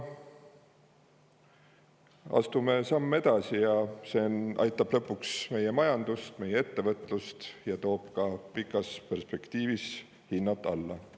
Astume sammu edasi, see aitab lõpuks meie majandust ja meie ettevõtlust ning toob pikas perspektiivis ka hinnad alla.